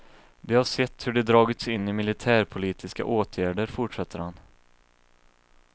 De har sett hur de dragits in i militärpolitiska åtgärder, fortsätter han.